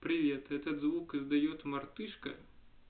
привет этот звук издаёт мартышка